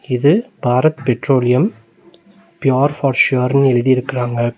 இது Bharat Petroleum pure for ஷோர்னு எழுதிருக்காங்க.